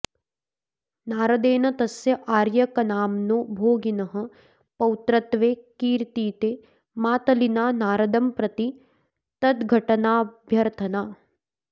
नारदेन तस्य आर्यकनाम्नो भोगिनः पौत्रत्वे कीर्तिते मातलिना नारदंप्रति तद्धटनाभ्यर्थना